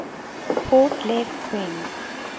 port left wing